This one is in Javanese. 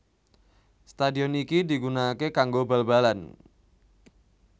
Stadion iki digunakake kanggo bal balan